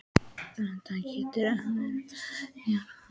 Þetta getur ekki hafa verið þægilegt í gærkvöldi?